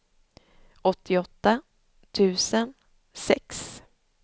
åttioåtta tusen sex